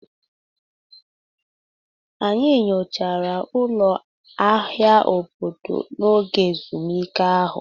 Anyị nyochara ụlọ ahịa obodo n'oge ezumike ahụ.